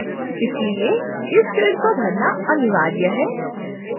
इसलिए इस field को भरना अनिवार्य है